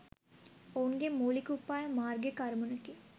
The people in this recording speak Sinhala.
ඔවුන්ගේ මුලික උපාය මාර්ගිික අරමුණකි